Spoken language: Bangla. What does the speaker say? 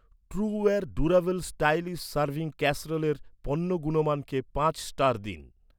ট্রুওয়ের ডুরাবেল স্টাইলিস সারভিং ক্যাসেরোলের পণ্য গুণমানকে পাঁচ স্টার দিন